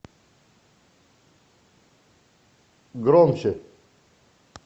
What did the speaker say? громче